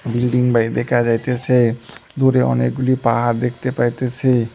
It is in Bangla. বিল্ডিং বাড়ি দেখা যাইতেসে দূরে অনেকগুলি পাহাড় দেখতে পাইতেসি।